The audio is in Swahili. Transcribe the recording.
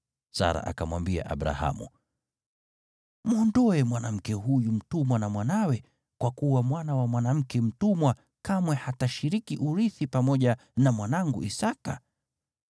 Sara akamwambia Abrahamu, “Mwondoe mwanamke huyo mtumwa pamoja na mwanawe, kwa kuwa mwana wa mwanamke mtumwa kamwe hatarithi pamoja na mwanangu Isaki.”